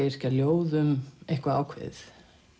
yrkja ljóð um eitthvað ákveðið